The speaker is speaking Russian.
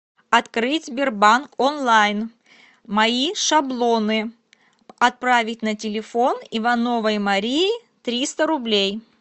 открыть сбербанк онлайн мои шаблоны отправить на телефон ивановой марии триста рублей